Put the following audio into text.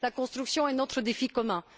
La construction est notre défi commun.